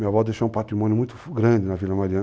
Minha avó deixou um patrimônio muito grande na Vila Mariana.